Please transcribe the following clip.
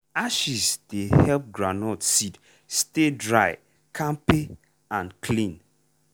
ashes dey help groundnut seed stay dry kampe and clean.